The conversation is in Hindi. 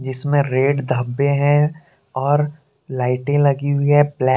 इसमे रेड धब्बे है और लाइटें लगी हुई ब्लै--